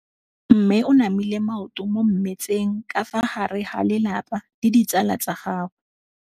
Mme o namile maoto mo mmetseng ka fa gare ga lelapa le ditsala tsa gagwe.